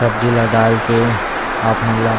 तबजिला दाल के आत्माला --